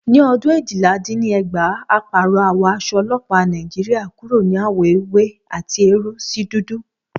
Ní ọdún éjìla-din-ní-ẹgbàá, a pàrọ̀ àwọ̀ aṣọ ọlọ́pàá Nàìjíríà kúrò ní àwọ̀ ewé àti eérú sí dúdú